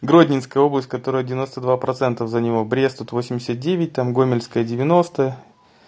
гродненская область которая девяносто два процента за него брест тут восемьдесят девять там гомельская девяносто